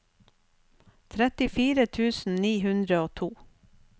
trettifire tusen ni hundre og to